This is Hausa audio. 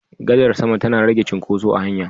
Gadar sama tana rage cin koso a hanya